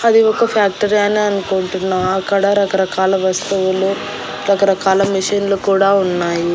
అది ఒక ఫ్యాక్టరీ అనే అనుకుంటున్నా అక్కడ రకరకాల వస్తువులు రకరకాల మిషిన్లు కూడా ఉన్నాయి.